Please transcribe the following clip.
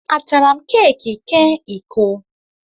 A tara m keeki ke iko?